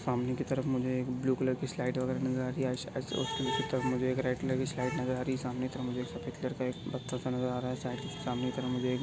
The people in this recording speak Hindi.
सामने की तरफ मुझे एक ब्लू कलर की स्लाइड वगेरा नजर आ रही है मुझे एक रेड कलर की स्लाइड नजर आ रही है सामने तरफ मुझे एक सफ़ेद कलर का एक पत्थर सा नजर आ रहा है सा सामने कि तरफ मुझे एक--